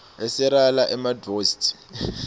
iserela emadstv